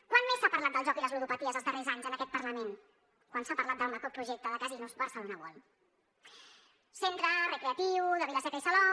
quan més s’ha parlat del joc i les ludopaties els darrers anys en aquest parlament quan s’ha parlat del macroprojecte de casinos barcelona world centre recreatiu de vila seca i salou